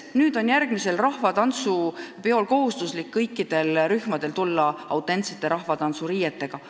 Näiteks järgmisele rahvatantsupeole peavad kõik rühmad tulema autentsete rahvariietega.